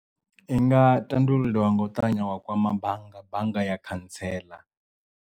I nga tandululiwa nga u ṱavhanya wa kwama bannga bannga ya khantsela.